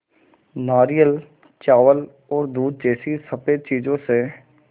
नारियल चावल और दूध जैसी स़फेद चीज़ों से